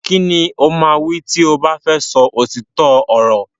Kini o ma wí ti o ba fẹ sọ òtítọ ọrọ.